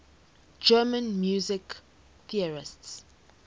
german music theorists